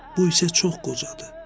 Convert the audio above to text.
Bu isə çox qocadır.